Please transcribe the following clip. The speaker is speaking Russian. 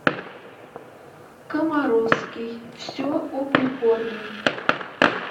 комаровский все о прикорме